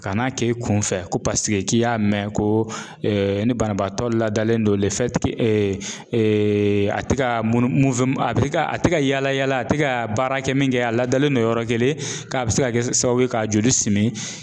Ka n'a k'e kunfɛ ko k'i y'a mɛn ko ni banabaatɔ ladalen don a ti ka a tɛ ka a tɛ ka yaala yaala a tɛ ka baara kɛ min kɛ a ladalen don yɔrɔ kelen k'a bɛ se ka kɛ sababu ye k'a joli simi